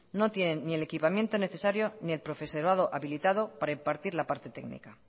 no tienen ni el equipamiento necesario ni el profesorado habilitado para impartir la parte técnica